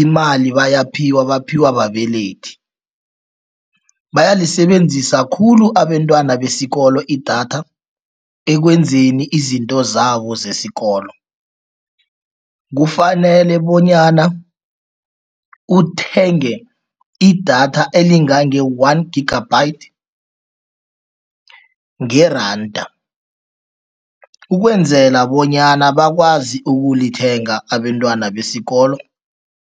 imali bayaphiwa, baphiwa babelethi. Bayalisebenzisa khulu abentwana besikolo idatha ekwenzeni izinto zabo zesikolo. Kufanele bonyana uthenge idatha elingange one gigabyte ngeranda, ukwenzela bonyana bakwazi ukulithenga, abentwana besikolo.